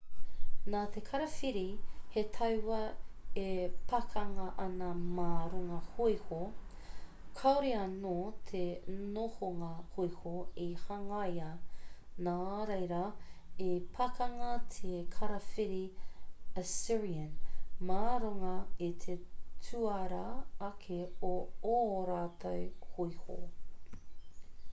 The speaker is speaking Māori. ko te karawhiri he tauā e pakanga ana mā runga hōiho kāore anō te nohonga hōiho i hangaia nō reira i pakanga te karawhiri assyrian mā runga i te tuarā ake o ō rātou hōiho